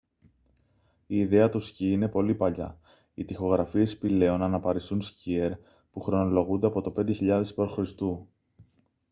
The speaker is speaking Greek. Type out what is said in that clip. η ιδέα του σκι είναι πολύ παλιά οι τοιχογραφίες σπηλαίων αναπαριστούν σκιέρ που χρονολογούνται από το 5.000 π.χ